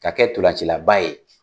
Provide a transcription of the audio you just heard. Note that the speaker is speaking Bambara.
Ka kɛ ntolacilaba ye!